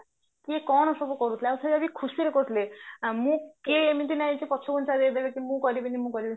ଇଏ କଣ ସବୁ କରୁଥିଲେ ଆଉ ସିଏ ଯଦି ଖୁସିରେ କରୁଥିଲେ ମୁଁ କିଏ ଏମିତି ନାଇଁ ଯେ ପଛ ଘୁଞ୍ଚା ଦେବେ କି ମୁଁ କରିବିନି ମୁଁ କରିବିନି